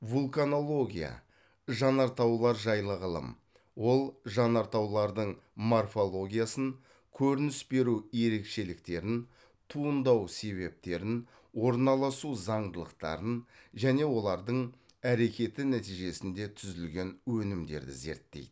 вулканология жанартаулар жайлы ғылым ол жанартаулардың морфологиясын көрініс беру ерекшеліктерін туындау себептерін орналасу заңдылықтарын және олардың әрекеті нәтижесінде түзілген өнімдерді зерттейді